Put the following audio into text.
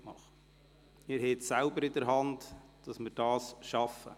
Sie haben es selbst in der Hand, ob wir es schaffen.